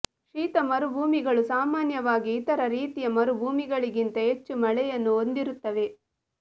ಶೀತ ಮರುಭೂಮಿಗಳು ಸಾಮಾನ್ಯವಾಗಿ ಇತರ ರೀತಿಯ ಮರುಭೂಮಿಗಳಿಗಿಂತ ಹೆಚ್ಚು ಮಳೆಯನ್ನು ಹೊಂದಿರುತ್ತವೆ